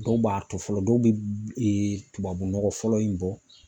Dɔw b'a to fɔlɔ dɔw be tubabu nɔgɔ fɔlɔ in bɔ